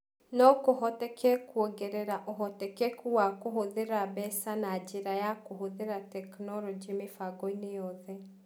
No kũhoteke kũongerera ũhotekeku wa kũhũthĩra mbeca na njĩra ya kũhũthĩra tekinolonjĩ mĩbango-inĩ yothe.